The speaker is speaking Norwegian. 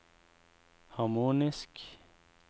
harmonisk